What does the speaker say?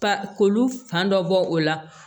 Ba ko olu fan dɔ bɔ o la